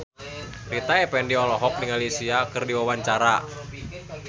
Rita Effendy olohok ningali Sia keur diwawancara